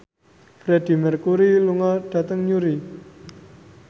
Freedie Mercury lunga dhateng Newry